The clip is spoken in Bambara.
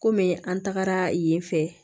Komi an tagara yen fɛ